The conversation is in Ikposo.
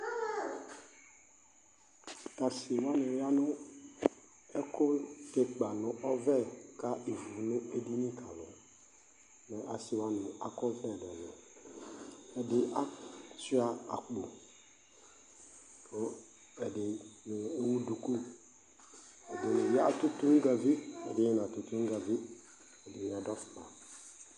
Tʋ asɩ wanɩ ya nʋ ɛkʋtɛ ɩkpa nʋ ɔvɛ ka ivu nʋ edini ka alʋ Mɛ asɩ wanɩ akɔ ɔvlɛ ɛlʋ-ɛlʋ Ɛdɩ asʋɩa akpo kʋ ɛdɩ ewu duku, ɛdɩnɩ ya atʋ toŋgavi, ɛdɩnɩ natʋ toŋgavi, ɛdɩnɩ adʋ afʋkpa